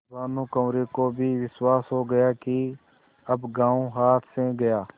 भानुकुँवरि को भी विश्वास हो गया कि अब गॉँव हाथ से गया